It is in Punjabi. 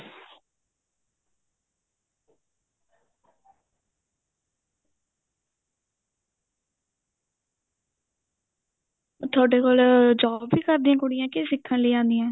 ਤੁਹਾਡੇ ਕੋਲ job ਵੀ ਕਰਦੀਆਂ ਕੁੜੀਆਂ ਕੇ ਸਿੱਖਣ ਲਇ ਆਉਂਦੀਆਂ